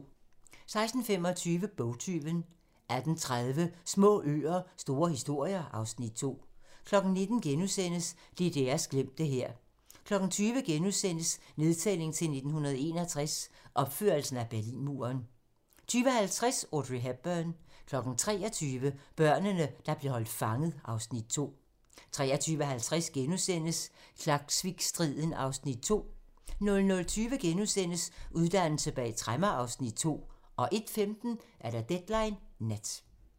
16:25: Bogtyven 18:30: Små øer - store historier (Afs. 2) 19:00: DDR's glemte hær * 20:00: Nedtælling til 1961 - opførelsen af Berlinmuren * 20:50: Audrey Hepburn 23:00: Børnene, der blev holdt fanget (Afs. 2) 23:50: Klaksvikstriden (Afs. 2)* 00:20: Uddannelse bag tremmer (Afs. 2)* 01:15: Deadline nat